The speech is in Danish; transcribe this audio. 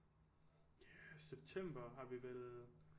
September har vi vel